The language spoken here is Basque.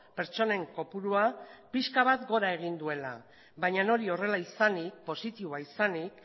pertsonen kopurua pixka bat gora egin duela baina hori horrela izanik positiboa izanik